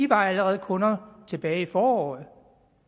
var allerede kunder tilbage i foråret